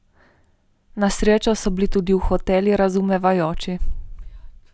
Na srečo so bili tudi v hotelu razumevajoči.